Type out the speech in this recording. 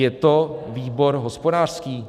Je to výbor hospodářský?